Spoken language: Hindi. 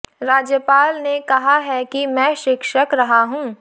राज्यपाल ने कहा है कि मैं शिक्षक रहा हूँ